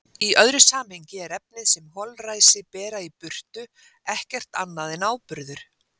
Í öðru samhengi er efnið sem holræsi bera í burtu ekkert annað en áburður.